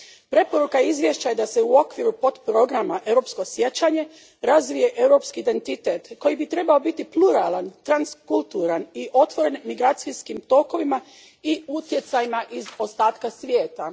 Preporuka izvješća je da se u okviru potprograma Europsko sjećanje razvije europski identitet koji bi trebao biti pluralan, transkulturalan i otvoren migracijskim tokovima i utjecajima iz ostatka svijeta.